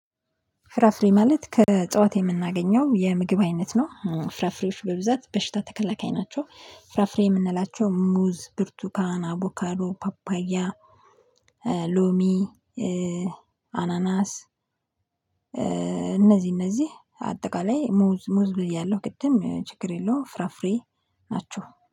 ፍራፍሬ ማለት ከእጽዋት የምናገኘው የምግብ አይነት ነው። ፍራፍሬዎች በብዛት በሽታ ተከላካይ ናቸው ፍራፍሬ የምንላቸው ሙዝ፣ ብርቱካን፣ አቦካዶ፣ ፓፓያ፣ ሎሚ አናናስ እነዚህ እነዚህ አጠቃላይ ሙዝ፣ ሙዝ ብያለሁ ቅድም ችግር የለውም ፍራፍሬ ናችሁ።